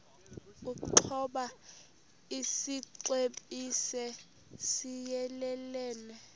ukoba isixesibe siyelelene